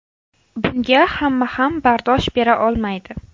Bunga hamma ham bardosh bera olmaydi.